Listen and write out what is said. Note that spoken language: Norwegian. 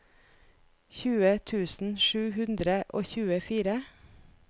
tjue tusen sju hundre og tjuefire